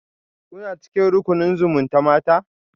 Kuna cikin rukunin zumutamata?